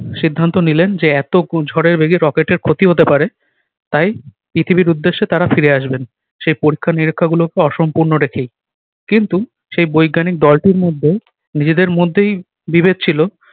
সিদ্ধান্ত নিলেন যে এত ক~ ঝড়ের বেগে rocket এর ক্ষতি হতে পারে তাই পৃথিবীর উদ্দেশ্যে তারা ফিরে আসবেন। সেই পরীক্ষা নিরীক্ষা গুলোকে অসম্পূর্ণ রেখেই। কিন্তু সেই বৈজ্ঞানিক দলটির মধ্যে নিজেদের মধ্যেই বিভেদ ছিল।